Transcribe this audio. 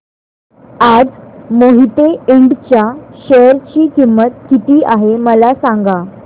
आज मोहिते इंड च्या शेअर ची किंमत किती आहे मला सांगा